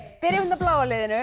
byrjum á bláa liðinu